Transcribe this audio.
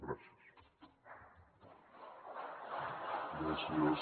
gràcies